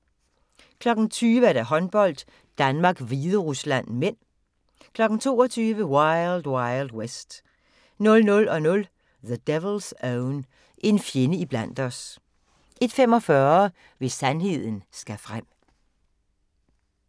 20:00: Håndbold: Danmark-Hviderusland (m) 22:00: Wild Wild West 00:00: The Devil's Own – En fjende iblandt os 01:45: Hvis sandheden skal frem